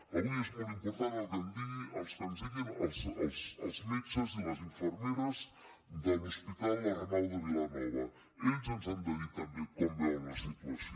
avui és molt important el que ens diguin els metges i les infermeres de l’hospital arnau de vilanova ells ens han de dir també com veuen la situació